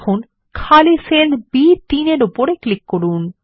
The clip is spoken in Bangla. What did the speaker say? এখন খালি সেল B3 এর উপর ক্লিক করুন